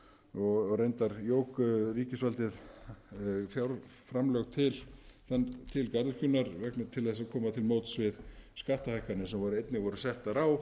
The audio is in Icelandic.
og reyndar jók ríkisvaldið fjárframlög til garðyrkjunnar til að koma til móts við skattahækkanir sem voru einnig settar á